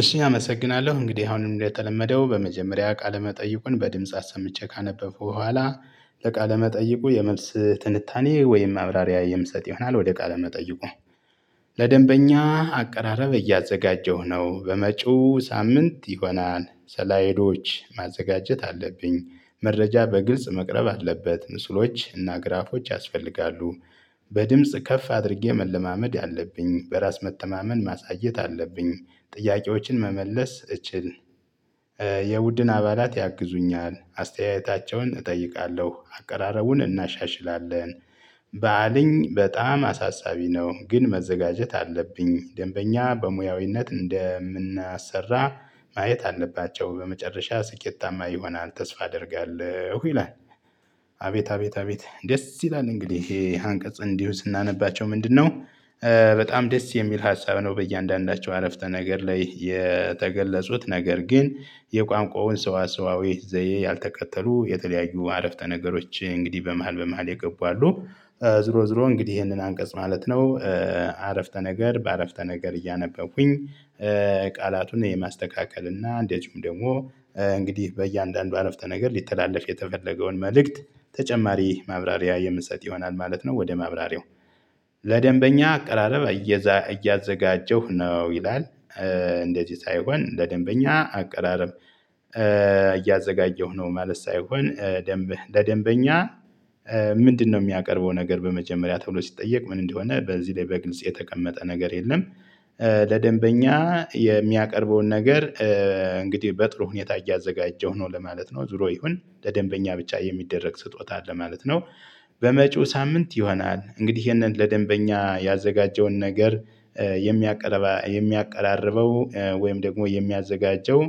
እሺ አመሰግናለሁ እንግዲህ አሁንም እንደተለመደው በመጀመሪያ ቃለ መጠይቁን በድምጽ አሰምቼ ካነበብኩ በኋላ ለቃለ መጠይቁ የመልስ ትንታኔ ወይም ማብራሪያ የምሰጥ ይሆናል ወደ ቃለ መጠይቁ። ለደንበኛ አቀራረብ እያዘጋጀሁ ነው በመጪው ሳምንት ይሆናል ስላይዶች ማዘጋጀት አለብኝ መረጃ በግልጽ መቅረብ አለበት ምስሎች እና ግራፎች ያስፈልጋሉ። በድምጽ ከፍ አድርጌ መለማመድ አለብኝ በራስ መተማመን ማሳየት አለብኝ ጥያቄዎችን መመለስ እችል የቡድን አባላት ያግዙኛል አስተያየታቸውን እጠይቃለሁ አቀራረቡን እናሻሽላለን። ባአልኝ በጣም አሳሳቢ ነው ግን መዘጋጀት አለብኝ ደንበኛ በሙያዊነት እንደምናሰራ ማየት አለባቸው በመጨረሻ ስኬታማ ይሆናል ተስፋ አደርጋለሁ ይላል። አቤት አቤት አቤት ደስ ይላል እንግዲህ ይሄ አንቀጽ እንዲሁ ስናነባቸው ምንድነው? በጣም ደስ የሚል ሀሳብ ነው። በእያንዳንዳቸው አረፍተ ነገር ላይ የተገለጹት ነገር ግን የቋንቋውን ሰዋሰዋዊ ዘዬ ያልተከተሉ የተለያዩ አረፍተ ነገሮች እንግዲህ በመሃል በመሃል የገቡ አሉ። ዝሮ ዝሮ እንግዲህ ይሄንን አንቀጽ ማለት ነው። አረፍተ ነገር በአረፍተ ነገር እያነበብኩኝ። ቃላቱን የማስተካከል እና እንደዚሁም ደግሞ እንግዲህ በእያንዳንዱ አረፍተ ነገር ሊተላለፍ የተፈለገውን መልእክት ተጨማሪ ማብራሪያ የምሰጥ ይሆናል ማለት ነው ወደ ማብራሪያው። ለደንበኛ አቀራረብ እያዘጋጀሁ ነው ይላል። እንደዚህ ሳይሆን ለደንበኛ አቀራረብ። እያዘጋጀሁ ነው ማለት ሳይሆን ደንብ ለደንበኛ ምንድነው የሚያቀርበው ነገር በመጀመሪያ ተብሎ ሲጠየቅ ምን እንደሆነ በዚህ ላይ በግልጽ የተቀመጠ ነገር የለም። ለደንበኛ የሚያቀርበውን ነገር። እንግዲህ በጥሩ ሁኔታ እያዘጋጀሁ ነው ለማለት ነው ዙሮ ይሁን ለደንበኛ ብቻ የሚደረግ ስጦታ አለ ማለት ነው። በመጪው ሳምንት ይሆናል እንግዲህ ይሄንን ለደንበኛ ያዘጋጀውን ነገር። የሚያቀርበው ወይም ደግሞ የሚያዘጋጀው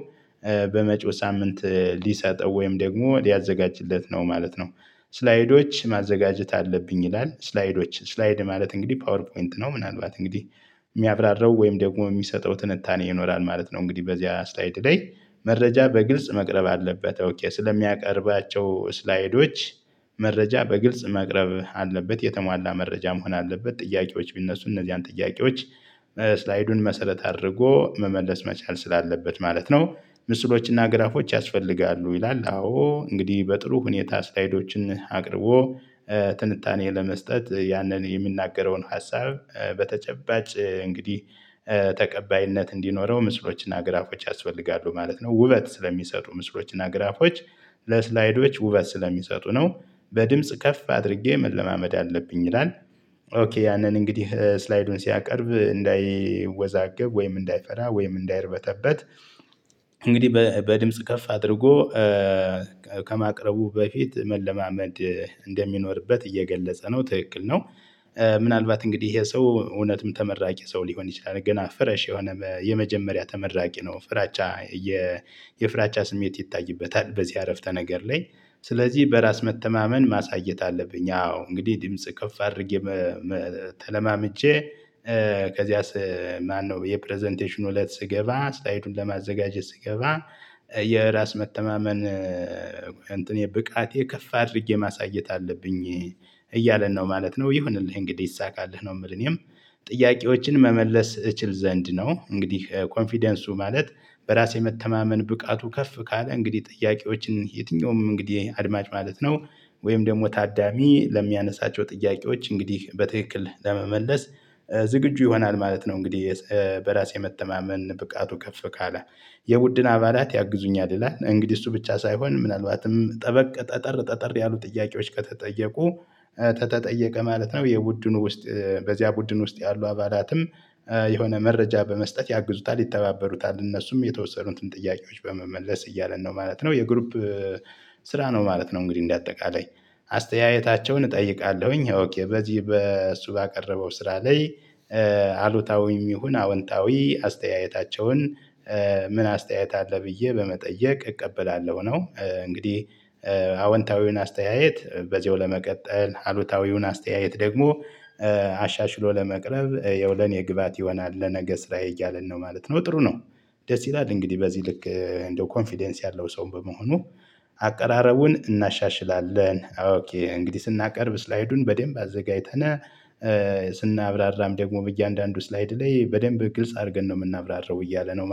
በመጪው ሳምንት ሊሰጠው ወይም ደግሞ ሊያዘጋጅለት ነው ማለት ነው። ስላይዶች ማዘጋጀት አለብኝ ይላል ስላይዶች ስላይድ ማለት እንግዲህ ፓወር ፖይንት ነው። ምናልባት እንግዲህ የሚያብራራው ወይም ደግሞ የሚሰጠው ትንታኔ ይኖራል ማለት ነው። እንግዲህ በዚህ አስተያየት ላይ መረጃ በግልጽ መቅረብ አለበት። ኦኬ ስለሚያቀርባቸው ስላይዶች መረጃ በግልጽ መቅረብ አለበት የተሟላ መረጃ መሆን አለበት። ጥያቄዎች ቢነሱ እነዚያን ጥያቄዎች ስላይዱን መሰረት አድርጎ መመለስ መቻል ስላለበት ማለት ነው። ምስሎችና ግራፎች ያስፈልጋሉ ይላል። አዎ እንግዲህ በጥሩ ሁኔታ ስላይዶችን አቅርቦ ትንታኔ ለመስጠት ያንን የሚናገረውን ሀሳብ በተጨባጭ እንግዲህ ተቀባይነት እንዲኖረው ምስሎችና ግራፎች ያስፈልጋሉ ማለት ነው። ውበት ስለሚሰጡ ምስሎችና ግራፎች ለስላይዶች ውበት ስለሚሰጡ ነው። በድምጽ ከፍ አድርጌ መለማመድ አለብኝ ይላል። ኦኬ ያንን እንግዲህ ስላይዱን ሲያቀርብ እንዳይወዛገብ ወይም እንዳይፈራ ወይም እንዳይርበተበት እንግዲህ በድምጽ ከፍ አድርጎ ከማቅረቡ በፊት መለማመድ እንደሚኖርበት እየገለጸ ነው። ትክክል ነው። ምናልባት እንግዲህ ይሄ ሰው እውነትም ተመራቂ ሰው ሊሆን ይችላል ገና ፍረሽ የሆነ የመጀመሪያ ተመራቂ ነው። ፍራቻ የ የፍራቻ ስሜት ይታይበታል። በዚህ አረፍተ ነገር ላይ ስለዚህ በራስ መተማመን ማሳየት አለብኝ። አዎ እንግዲህ ድምጽ ከፍ አድርጌ ተለማምጄ ከዚያስ ማነው የፕረዘንቴሽኑ እለት ስገባ ስላይዱን ለማዘጋጀት ስገባ የራስ መተማመን እንትኔ ብቃቴ ከፍ አድርጌ ማሳየት አለብኝ እያለን ነው ማለት ነው። ይሁንልህ እንግዲህ ይሳካልህ ነው የምልህ እኔም። ጥያቄዎችን መመለስ እችል ዘንድ ነው። እንግዲህ ኮንፊደንሱ ማለት በራስ የመተማመን ብቃቱ ከፍ ካለ እንግዲህ ጥያቄዎችን የትኛውም እንግዲህ አድማጭ ማለት ነው። ወይም ደግሞ ታዳሚ ለሚያነሳቸው ጥያቄዎች እንግዲህ በትክክል ለመመለስ ዝግጁ ይሆናል ማለት ነው። እንግዲህ በራስ የመተማመን ብቃቱ ከፍ ካለ የቡድን አባላት ያግዙኛል ይላል። እንግዲህ እሱ ብቻ ሳይሆን ምናልባትም ጠበቅ ጠጠር ጠጠር ያሉ ጥያቄዎች ከተጠየቁ ከተጠየቀ ማለት ነው። የቡድኑ ውስጥ በዚያ ቡድን ውስጥ ያሉ አባላትም የሆነ መረጃ በመስጠት ያግዙታል ይተባበሩታል እነሱም የተወሰኑትን ጥያቄዎች በመመለስ እያለን ነው ማለት ነው። የግሩፕ ስራ ነው ማለት ነው። እንግዲህ እንደ አጠቃላይ አስተያየታቸውን እጠይቃለሁኝ በዚህ በሱ ባቀረበው ስራ ላይ። አሉታዊም ይሁን አዎንታዊ አስተያየታቸውን ምን አስተያየት አለ ብዬ በመጠየቅ እቀበላለሁ ነው። እንግዲህ አወንታዊውን አስተያየት በዚያው ለመቀጠል አሉታዊውን አስተያየት ደግሞ አሻሽሎ ለመቅረብ ያው ለኔ ግብአት ይሆናል ለነገ ስራ እያለን ነው ማለት ነው ጥሩ ነው። ደስ ይላል እንግዲህ በዚህ ልክ እንደው ኮንፊደንስ ያለው ሰው በመሆኑ አቀራረቡን እናሻሽላለን። እንግዲህ ስናቀርብ ስላይዱን በደንብ አዘጋጅተናል ስናብራራም ደግሞ በእያንዳንዱ ስላይድ ላይ በደንብ ግልጽ አድርገን ነው የምናብራራው እያለ ነው